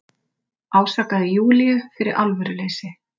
Ásakaði Júlíu fyrir alvöruleysi.